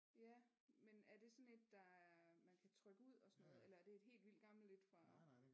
Ja men er det sådan et der man kan trykke ud og sådan noget eller er det et helt vildt gammelt et fra